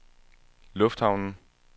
lufthavnen